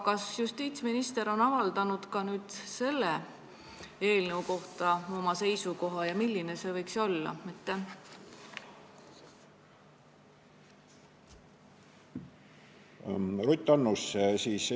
Kas justiitsminister on ka nüüd selle eelnõu kohta oma seisukoha avaldanud ja kui on, siis milline see on?